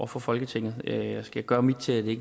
for folketinget og jeg skal gøre mit til at det